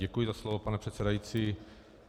Děkuji za slovo, pane předsedající.